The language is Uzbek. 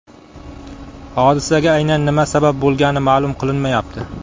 Hodisaga aynan nima sabab bo‘lgani ma’lum qilinmayapti.